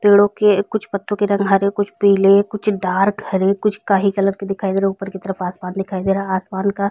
पेड़ो के कुछ पत्तो के रंग हरे कुछ पिले कुछ डार्क हरे कुछ काहि कलर के दिखाई दे रहे है ऊपर की तरफ आसमान दिखाई दे रहा है आसमान का--